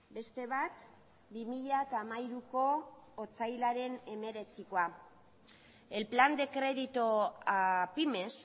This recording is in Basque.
beste bat bi mila hamairuko otsailaren hemeretzikoa el plan de crédito a pymes